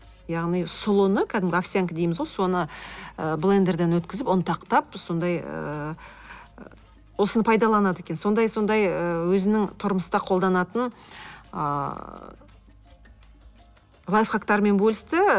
яғни сұлыны кәдімгі овсянка дейміз ғой соны ы блендерден өткізіп ұнтақтап сондай ыыы осыны пайдаланады екен сондай сондай ы өзінің тұрмыста қолданатын ыыы лайфхактарымен бөлісті